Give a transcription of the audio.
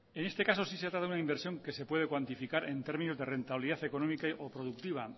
en este caso sí se trata de una inversión que se puede cuantificar en términos de rentabilidad económica o productiva